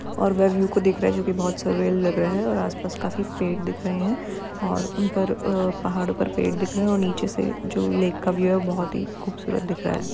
और वह व्यू को देख रहा है जो कि बहुत सुर्रियल लग रहे हैं और आसपास खाफी पेड़ दिख रहे हैं और उन पर आ पहाड़ो पर पेड़ दिख रहे हैं और नीचे से जो लेक का व्यू है वो बहुत ही खूबसूरत दिख रहा है।